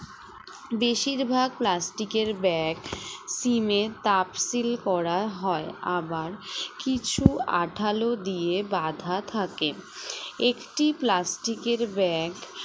বেশিরভাগ plastic এর bag সিমের cup seal করা হয় আবার কিছু আঁঠালো দিয়ে বাঁধা থাকে একটি plastic এর bag